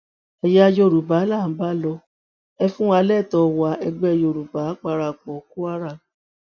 ẹyà yorùbá là ń bá lò ẹ fún wa lẹtọọ wa ẹgbẹ yorùbá parapọ kwara